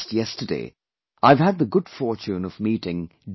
Just yesterday I've had the good fortune of meeting D